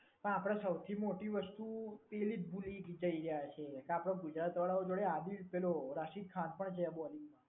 પણ આપડે સૌથી મોટી વસ્તુ એ જ ભૂલી રહ્યા છે કે આપડા ગુજરાત વાળાઓ જોડે રાશિદ ખાન પણ છે આ બોલિંગમાં.